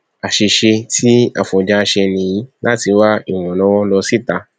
àṣìṣe tí afọnjá ṣe nìyí láti wá ìrànlọwọ lọ síta